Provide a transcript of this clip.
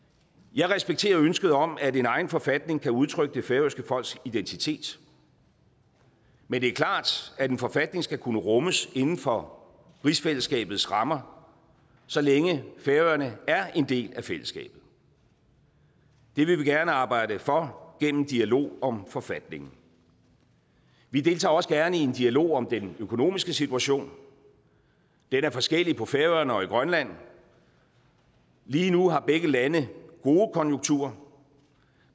jeg respekterer ønsket om at en egen forfatning kan udtrykke det færøske folks identitet men det er klart at en forfatning skal kunne rummes inden for rigsfællesskabets rammer så længe færøerne er en del af fællesskabet det vil vi gerne arbejde for gennem dialog om forfatningen vi deltager også gerne i en dialog om den økonomiske situation den er forskellig på færøerne og i grønland lige nu har begge lande gode konjunkturer